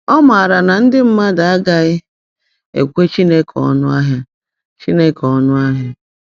Ọ maara na ndị mmadụ agaghị ekwe Chineke ọnụ ahịa. Chineke ọnụ ahịa.